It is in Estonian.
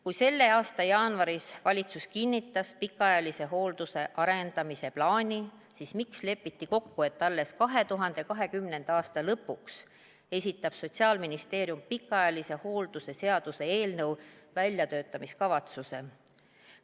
Kui selle aasta jaanuaris valitsus kinnitas pikaajalise hoolduse arendamise plaani, siis miks lepiti kokku, et alles 2020. aasta lõpuks esitab Sotsiaalministeerium pikaajalise hoolduse seaduse eelnõu väljatöötamiskavatsuse?